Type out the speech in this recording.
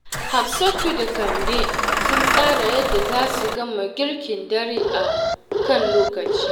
Hafsatu da Kande sun tsara yadda za su gama girkin dare a kan lokaci.